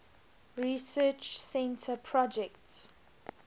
research center projects